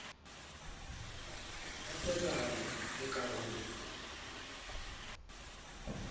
ka phethahalo le ka ho